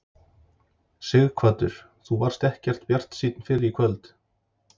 Sighvatur: Þú varst ekkert bjartsýnn fyrr í kvöld?